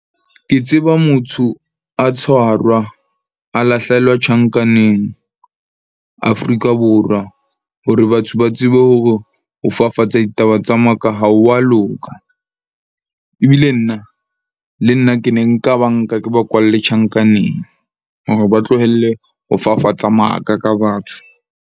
Ke tseba motho a tshwarwa, a lahlehelwa tjhankaneng Afrika Borwa. Hore batho ba tsebe hore ho fafatsa ditaba tsa maka ha ho a loka. Ebile nna le nna ke ne nka ba nka ke ba kwalle tjhankaneng, hore ba tlohelle ho fafatsa maka ka batho.